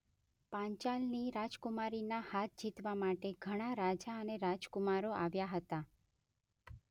પાંચાલની રાજકુમારીના હાથ જીતવા માટે ઘણાં રાજા અને રાજકુમારો આવ્યાં હતાં.